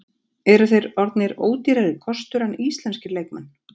Eru þeir orðnir ódýrari kostur en íslenskir leikmenn?